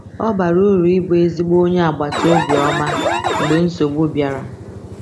Ọ bara uru ịbụ ezigbo onye agbataobi ọma mgbe nsogbu bịara.